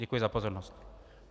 Děkuji za pozornost.